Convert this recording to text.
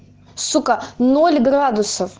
сука ноль градусов